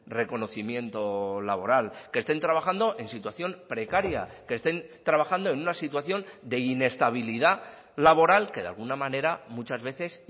reconocimiento laboral que estén trabajando en situación precaria que estén trabajando en una situación de inestabilidad laboral que de alguna manera muchas veces